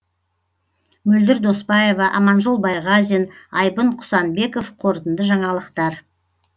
мөлдір доспаева аманжол байғазин айбын құсанбеков қорытынды жаңалықтар